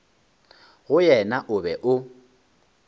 go yena o be o